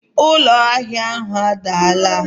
Ụlọ ahịa ahụ adaala